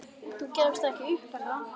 Þú gefst ekki upp, er það?